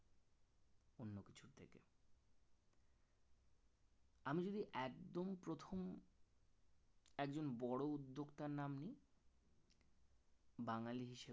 আমি যদি একদম প্রথম একজন বড় উদ্যোক্তার নাম নেই বাঙালি হিসেবে